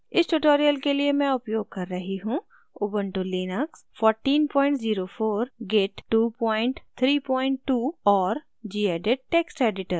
इस tutorial के लिए मैं उपयोग कर रही हूँ: